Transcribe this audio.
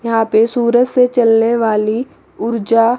यहां पे सूरज से चलने वाली ऊर्जा--